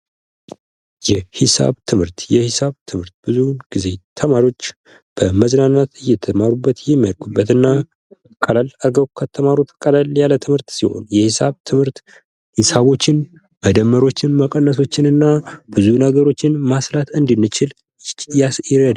የሂሳብ ትምህርት የሂሳብ ትምህርት ብዙ ጊዜ ተማሪዎች በመዝናናት እየተማሩ የሚያርጉበትና ቀላል አርገው ከተማሩት ቀላል የሆነ ሲሆን የሒሳብ ትምህርት ሂሳቦችን መደመሮችን መቀነሶችን እና ብዙ ነገሮችን ማስላት እንድንችል ይረዳናል።